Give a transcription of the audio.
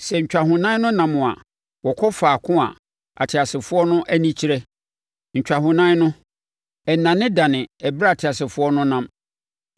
Sɛ ntwahonan no nam a, wɔkɔ faako a ateasefoɔ no ani kyerɛ; ntwahonan no, ɛnnanedane ɛberɛ a ateasefoɔ no nam.